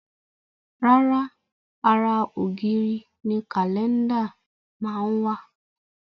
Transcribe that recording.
Rárá, ara ògiri ni Kálẹ́ndà máa ń wà